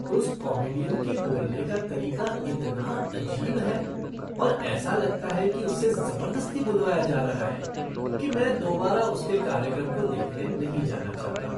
उस कॉमीडियन के बोलने का तरीका इतना अजीब है और ऐसा लगता है कि उससे जबरदस्ती बुलवाया जा रहा है कि मैं दोबारा उसके कार्यक्रम को देखने नहीं जाना चाहता।